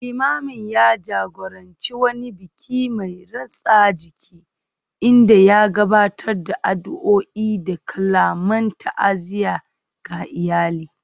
Limamin ya jagoranci wani biki mai ratsa jiki, inda ya gabatar da addu’o’i da kalaman ta’aziyya ga iyalin